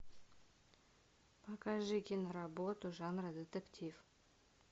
покажи киноработу жанра детектив